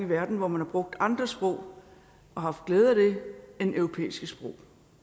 verden hvor man har brugt andre sprog og haft glæde af det end europæiske sprog